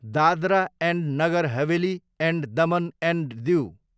Dadra and Nagar Haveli and Daman and Diu